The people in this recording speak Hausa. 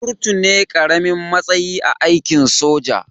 Kurtu ne karamin matsayi a aikin soja